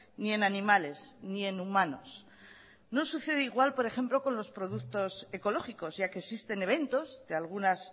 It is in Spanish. ni en animales ni en humanos no sucede igual por ejemplo con los productos ecológicos ya que existen eventos de algunas